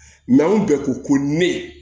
anw bɛɛ ko ko ne